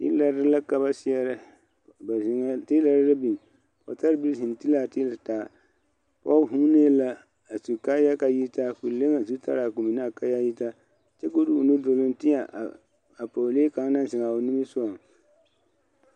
Teelare la ka ba seɛrɛ ba zeŋɛɛ teelare la biŋ ba taa pɔge vuunee la a su kaaya ka a yitaa ka o le o zutara ka a kaaya yitaa de o nu te a bie kaŋa naŋ zeŋ a o niŋe sɔgaŋ.